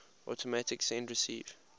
automatic send receive